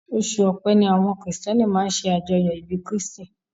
Oṣù ọpẹ́ ni àwọn kìrìtíẹ́nì máa ń ṣe àjọyọ̀ ìbí kírstì